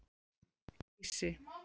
Geysi